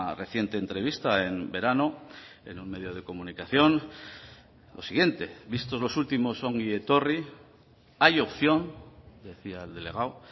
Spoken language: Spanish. reciente entrevista en verano en un medio de comunicación lo siguiente vistos los últimos ongi etorri hay opción decía el delegado